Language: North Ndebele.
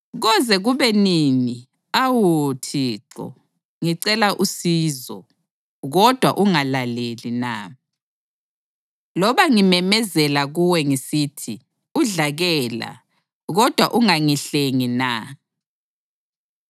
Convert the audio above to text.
Koze kube nini, awu Thixo, ngicela usizo, kodwa ungalaleli na? Loba ngimemezela kuwe ngisithi, “Udlakela!” kodwa ungangihlengi na?